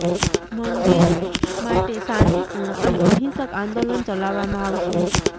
મંદિર માટે શાંતિ પૂર્ણ અને અહિંસક આંદોલન ચલાવવામાં આવશે